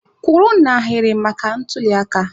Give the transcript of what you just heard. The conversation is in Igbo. Kwụrụ n'ahịrị maka ntuliaka!